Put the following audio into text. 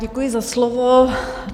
Děkuji za slovo.